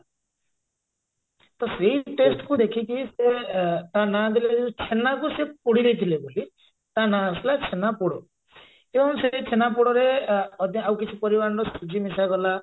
ତ ସେଇ taste କୁ ଦେଖିକି ସେ ଅ ତା ନା ଦେଲେ ଯେ ଛେନାକୁ ସେ ପୋଡିଦେଇଥିଲେ ବୋଲି ତା ଆସିଲା ଛେନାପୋଡ ତେଣୁ ସେଇ ଛେନାପୋଡରେ ଅ ଆଉ କିଛି ପରିମାଣର ସୁଜି ମିଶାଗଲା